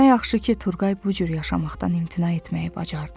Nə yaxşı ki, Turqay bu cür yaşamaqdan imtina etməyi bacardı.